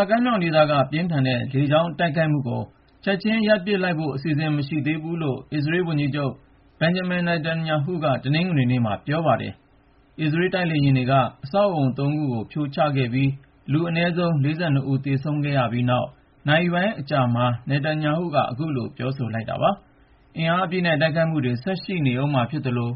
ာကမ်းမြောင်ဒေသက ပြင်းထန်တဲ့ လေကြောင်းတိုက်ခိုက်မှုကို ချက်ချင်းရပ်ပစ်လိုက်ဖို့ အစီအစဉ် မရှိသေးဘူးလို့ အစ္စရေးလ်ဝန်ကြီးချုပ် Benjamin Netanyahu က တနင်္ဂနွေနေ့မှာ ပြောဆိုပါတယ်။ အစ္စရေးလ် တိုက်လေယာဉ်တွေက အဆောက်အဦး ၃ ခုကို ဖြိုချခဲ့ပြီး အနည်းဆုံး လူ ၄၂ ဦး သေဆုံးခဲ့ပြီးနောက် နာရီပိုင်းအကြာမှာ Netanyahu က အခုလို ပြောဆိုလိုက်တာပါ။ အင်အားအပြည့်နဲ့ တိုက်ခိုက်မှုတွေ ဆက်ရှိနေဦးမှာဖြစ်သလို